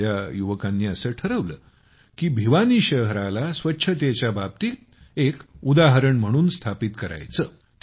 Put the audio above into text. इथल्या युवकांनी असं ठरवलं की भिवानी शहराला स्वच्छतेच्या बाबतीत एक उदाहरण म्हणून स्थापित करायचं